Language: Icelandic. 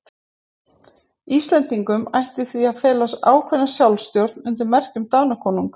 Íslendingum ætti því að fela ákveðna sjálfstjórn undir merki Danakonungs.